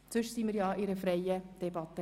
Ansonsten führen wir eine freie Debatte.